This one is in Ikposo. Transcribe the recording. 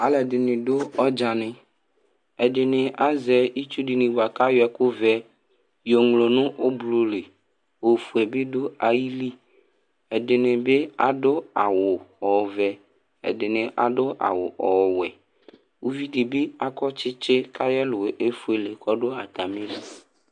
Alʋɛdɩnɩ dʋ ɔdzanɩ Ɛdɩnɩ azɛ itsu dɩnɩ bʋa kʋ ayɔ ɛkʋ ɔvɛ yɔŋlo nʋ ʋblo li Ofue bɩ dʋ ayili, ɛdɩnɩ bɩ adʋ awʋ ɔvɛ, ɛdɩnɩ adʋ awʋ ɔwɛ Uvi dɩ bɩ akɔ tsɩtsɩ kʋ ayʋ ɛlʋ yɛ efuele kʋ ɔdʋ atamɩli